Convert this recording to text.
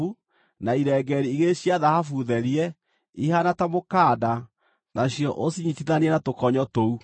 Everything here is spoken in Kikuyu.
na irengeeri igĩrĩ cia thahabu therie, ihaana ta mũkanda, nacio ũcinyiitithanie na tũkonyo tũu.